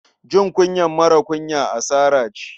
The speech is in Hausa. Jin kunyar marar kunya asara ce.